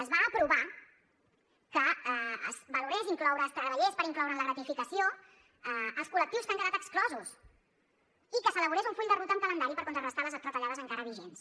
es va aprovar que es valorés incloure que es treballés per incloure en la gratificació els col·lectius que n’han quedat exclosos i que s’elaborés un full de ruta amb calendari per contrarestar les retallades encara vigents